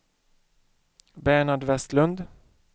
Bernhard Vestlund